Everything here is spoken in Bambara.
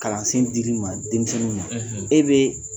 Kalansen dir'i ma denmisɛnnin e bɛ